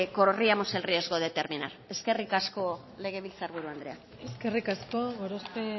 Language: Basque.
corríamos el riesgo de terminar eskerrik asko legebiltzar buru andrea eskerrik asko gorospe